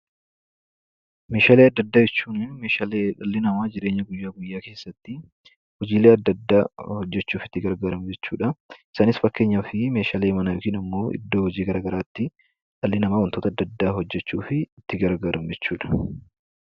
Meeshaalee adda addaa jechuun meeshaalee dhalli namaa jireenya isaa guyyaa guyyaa keessatti hojiilee adda adda hojjechuuf itti gargaaramu jechuudha. Isaanis: meeshaalee manaa, iddoo hojii garaa garaatti itti fayyadamu akka fakkeenyaatti kaasuu dandeenya.